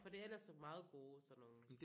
For det er ellers sådan meget gode sådan nogle